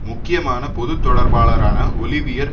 முக்கியமான பொது தொடர்பாளாரான ஒலிவியர்